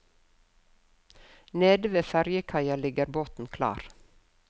Nede ved fergekaia ligger båten klar.